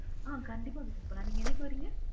ஆமா கண்டிப்பா visit பண்ணலாம் நீங்க என்னைக்கு வரிங்க?